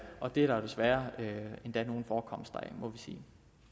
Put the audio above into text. og det er der jo desværre nogle forekomster af må vi sige